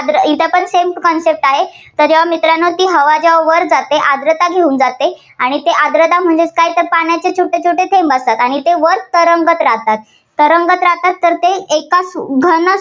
आर्द्र. इथे तर same concept आहे. जर जेव्हा मित्रांनो ती हवा जेव्हा वर जाते, आर्द्रता घेऊन जाते आणि ते आर्द्रता म्हणजे काय तर पाण्याचे छोटेछोटे थेंब असतात, आणि ते वर तरंगत राहातात. तरंगत राहतात तर एकाच घन